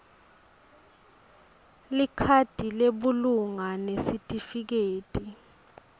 likhadi lebulunga nesitifiketi